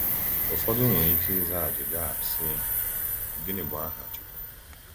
Ụfọdụ nwere ike ịza ajụjụ a, sị: “Gịnị bụ aha Chukwu?”